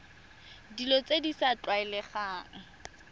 dilo tse di sa tlwaelegang